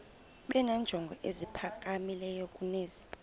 benenjongo eziphakamileyo kunezi